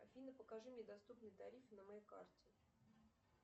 афина покажи мне доступные тарифы на моей карте